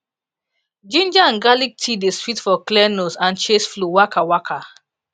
ginger an garlic tea dey sweet for clear nose an chase flu waka waka